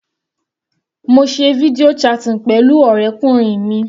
Mo se video chatting pẹ̀lú ọ̀rẹ́kùnrin mi.